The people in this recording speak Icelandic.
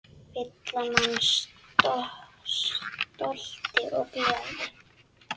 Fylla mann stolti og gleði.